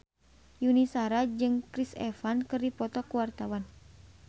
Yuni Shara jeung Chris Evans keur dipoto ku wartawan